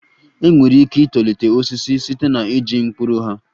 Enwere ike itolite osisi site na iji mkpụrụ ha